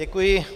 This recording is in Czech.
Děkuji.